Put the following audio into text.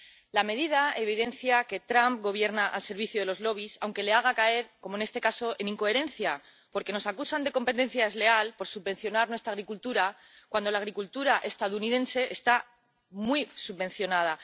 La medida evidencia que Trump gobierna al servicio de los lobbies aunque ello le haga caer, como en este caso, en incoherencia, porque nos acusan de competencia desleal por subvencionar nuestra agricultura, cuando la agricultura estadounidense está muy subvencionada.